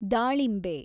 ದಾಳಿಂಬೆ